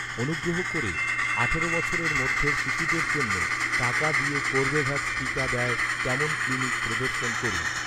অনুগ্রহ করে আঠারো বছরের মধ্যের শিশুদের জন্য, টাকা দিয়ে কর্বেভ্যাক্স টিকা দেয়, তেমন ক্লিনিক প্রদর্শন করুন